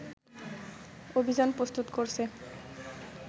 অভিযান প্রস্তুত করছে